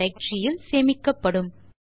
tutorial யனுள்ளதாக இருக்கும் என்று நினைக்கிறோம்